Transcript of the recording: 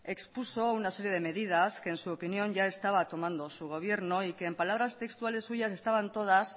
expuso una serie de medidas que en su opinión ya estaba tomando su gobierno y que en palabras textuales suyas estaban todas